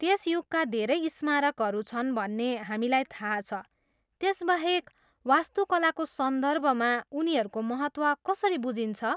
त्यस युगका धेरै स्मारकहरू छन् भन्ने हामीलाई थाहा छ, त्यसबाहेक, वास्तुकलाको सन्दर्भमा उनीहरूको महत्त्व कसरी बुझिन्छ?